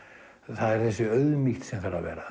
það er þessi auðmýkt sem þarf að vera